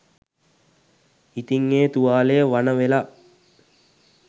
ඉතින් ඒ තුවාලය වණ වෙලා